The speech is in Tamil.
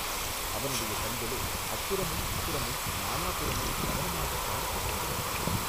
அவனுடைய கண்களோ அப்புறமும் இப்புறமும் நாலாபுறமும் கவனமாகப் பார்த்துக் கொண்டு வந்தன.